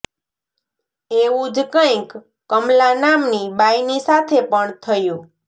એવું જ કંઇક કમલા નામ ની બાઈ ની સાથે પણ થયું